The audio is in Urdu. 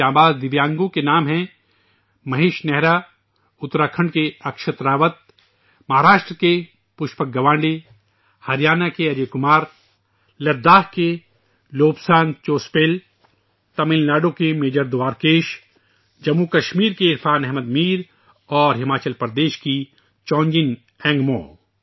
ان جانباز دیویانگوں کے نام ہیں مہیش نہرا ، اتراکھنڈ کے اکشت راوت ، مہاراشٹر کے پشپک گوانڈے، ہریانہ کے اجے کمار ، لداخ کے لوبسانگ چوسپل ، تمل ناڈو کے میجر دوارکیش ، جموں و کشمیر کے عرفان احمد میر اور ہماچل پردیش کے چونجین انگمو